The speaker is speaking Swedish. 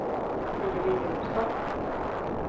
Siri Johnsson